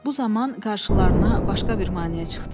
Bu zaman qarşılarına başqa bir maneə çıxdı.